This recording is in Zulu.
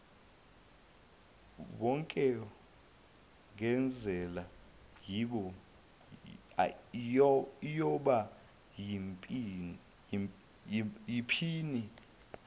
yokwengezela iyoba yiphini